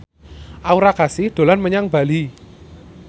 Aura Kasih dolan menyang Bali